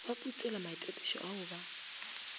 ba putselwa maitapišo ao ba